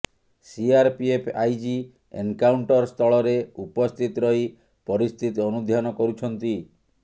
CRPF IG ଏନକାଉଣ୍ଟରସ୍ଥଳରେ ଉପସ୍ଥିତ ରହି ପରିସ୍ଥିତି ଅନୁଧ୍ୟାନ କରୁଛନ୍ତି